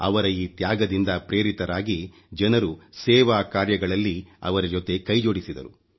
ಅವರ ಈ ತ್ಯಾಗದಿಂದ ಪ್ರೇರಿತರಾಗಿ ಜನರು ಸೇವಾಕಾರ್ಯಗಳಲ್ಲಿ ಅವರಜೊತೆ ಕೈ ಜೋಡಿಸಿದರು